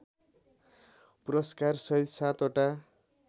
पुरस्कारसहित सात वटा